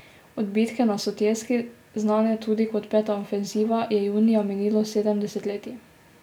Od bitke na Sutjeski, znane tudi kot peta ofenziva, je junija minilo sedem desetletij.